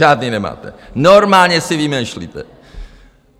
Žádný nemáte, normálně si vymýšlíte.